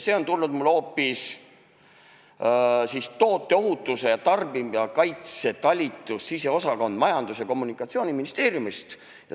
See on tulnud mulle hoopis toote ohutuse ja tarbijakaitse talitusest siseturuosakonnast Majandus- ja Kommunikatsiooniministeeriumist.